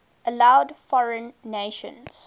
allowed foreign nations